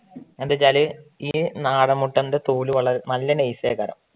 എന്താ വെച്ചാല് നാടൻ മുട്ടേൻറ്റെ തോല് നല്ല nice ആയിട്ട